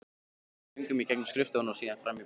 Við göngum í gegnum skrifstofuna og síðan fram í búðina.